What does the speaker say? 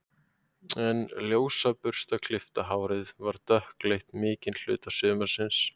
En ljósa burstaklippta hárið var dökkleitt mikinn hluta sumarsins.